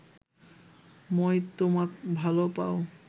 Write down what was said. মই তোমাক ভাল পাওঁ